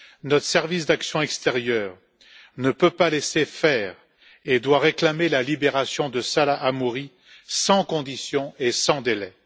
Notre service d'action extérieure ne peut pas laisser faire et doit réclamer la libération de Salah Hamouri sans condition et sans délai.